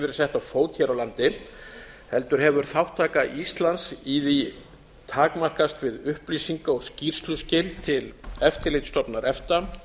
sett á fót hér á land heldur hefur þátttaka íslands í því takmarkast við upplýsinga og skýrsluskil til eftirlitsstofnunar efta